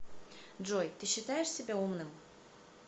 джой ты считаешь себя умным